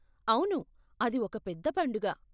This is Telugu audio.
అవును, అది ఒక పెద్ద పండుగ.